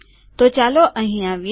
તો ચાલો અહીં આવીએ